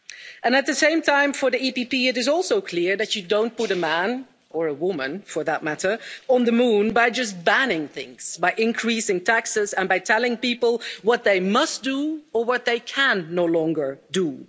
And at the same time, for the EPP it is also clear that you don't put a man or a woman, for that matter on the moon by just banning things, by increasing taxes and by telling people what they must do or what they can no longer do.